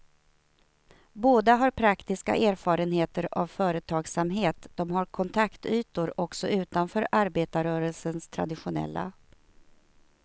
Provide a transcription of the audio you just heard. Båda har praktiska erfarenheter av företagsamhet, de har kontaktytor också utanför arbetarrörelsens traditionella.